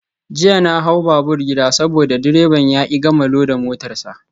Jiya na hau babur gida saboda direban ya ki gama loda motar sa.